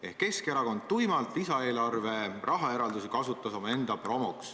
Ehk Keskerakond tuimalt kasutas lisaeelarve rahaeraldisi omaenda promoks.